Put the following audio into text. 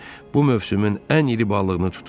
Bu mövsümün ən iri balığını tutmusan.